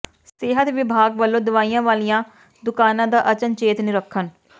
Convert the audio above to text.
ਸਿਹਤ ਵਿਭਾਗ ਵਲੋਂ ਦਵਾਈਆਂ ਵਾਲੀਆਂ ਦੁਕਾਨਾਂ ਦਾ ਅਚਨਚੇਤ ਨਿਰੀਖਣ